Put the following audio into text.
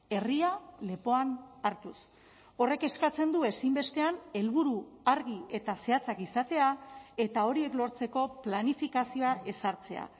herria lepoan hartuz horrek eskatzen du ezinbestean helburu argi eta zehatzak izatea eta horiek lortzeko planifikazioa ezartzea